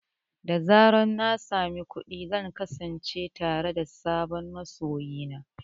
Da zarar na sami kuɗi, zan kasance tare da sabon masoyi na.